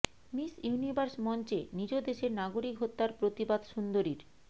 miss Universe মঞ্চে নিজ দেশের নাগরিক হত্যার প্রতিবাদ সুন্দরীর